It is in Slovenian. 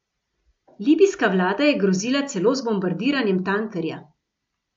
Libijska vlada je grozila celo z bombardiranjem tankerja.